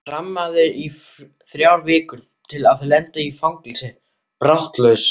Þramma í þrjár vikur til að lenda í fangelsi baráttulaust?